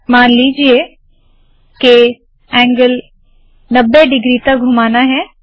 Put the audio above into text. मान लीजिए के ऐंगगल 90 डिग्री तक घुमाना है